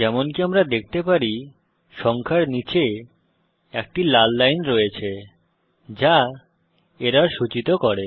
যেমনকি আমরা দেখতে পারি সংখ্যার নীচে একটি লাল লাইন রয়েছে যা এরর সূচিত করে